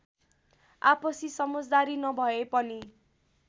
आपसी समजदारी नभए पनि